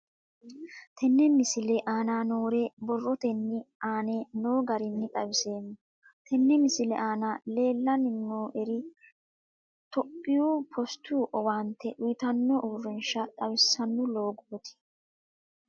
Tenne misile aana noore borrotenni aane noo garinni xawiseemo. Tenne misile aana leelanni nooerri toophphiyu postu owaante uytano uurishsha xawissanno loogoti.